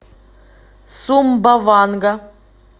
сумбаванга